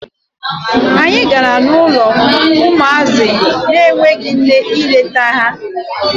Anyị gara n'ụlọ ụmụazị na-enweghi nne ịlete ha.